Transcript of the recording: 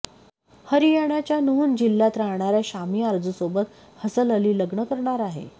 हरियाणाच्या नूहं जिल्ह्यात राहणाऱ्या शामिया आरजूसोबत हसल अली लग्न करणार आहे